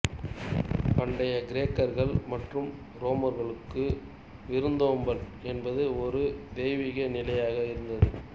பண்டைய கிரேக்கர்கள் மற்றும் ரோமர்களுக்கு விருந்தோம்பல் என்பது ஒரு தெய்வீக நிலையாக இருந்தது